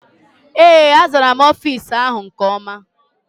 Ee, azara m ofiisi áhụ̀ nke ọma.